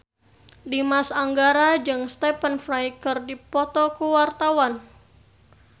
Dimas Anggara jeung Stephen Fry keur dipoto ku wartawan